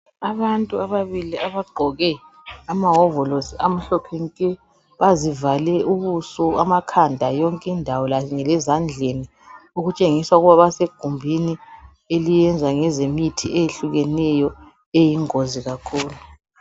Abantu ababili abagqoke amawovolisi amhlophe nke bazivale ubuso, amakhanda yonkindawo kanye lezandleni okutshengisa kwabasegumbini eliyenza ngezemithi eyehlukeneyo eyingozi kakhulu.